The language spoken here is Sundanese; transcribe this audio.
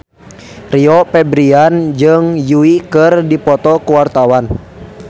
Rio Febrian jeung Yui keur dipoto ku wartawan